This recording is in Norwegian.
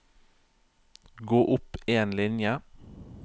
Gå opp en linje